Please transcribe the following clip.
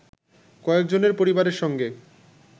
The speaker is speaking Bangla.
কয়েকজনের পরিবারের সঙ্গে